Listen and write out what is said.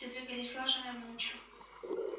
все двигались слаженно и молча